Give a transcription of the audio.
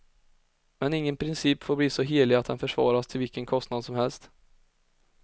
Men ingen princip får bli så helig att den försvaras till vilken kostnad som helst.